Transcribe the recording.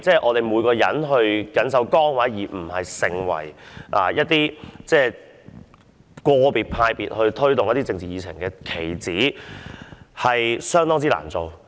我們要緊守崗位，不應成為個別黨派推動一些政治議程的棋子。